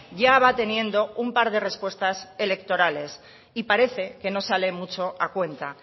ya va teniendo un par de respuestas electorales y parece que no sale mucho a cuenta